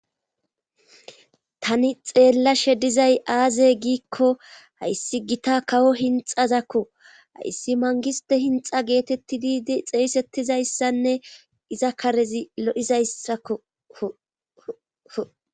tani xeellashe dizay aaze giikko hayssi gita kawo hinxazakko hayssi mangiste hinxa geetettidi xeesettizayssanne iza karezi lo7izayssako